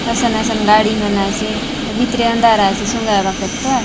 सन असन गाड़ी मन आचे भीतरे अंधार आचे सोंगाय बा काजे तो आय।